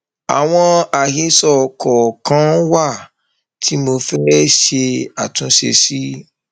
àwọn àhesọ kọọkan wà tí mo fẹẹ ṣe àtúnṣe sí